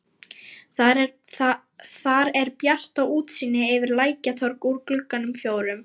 Þar er bjart og útsýni yfir Lækjartorg úr gluggunum fjórum.